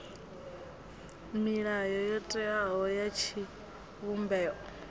milayo yo teaho ya tshivhumbeo